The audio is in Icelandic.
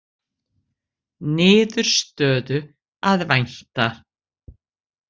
Niðurstöðu að vænta